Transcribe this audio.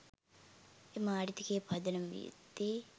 එම ආර්ථිකයේ පදනම විය යුත්තේ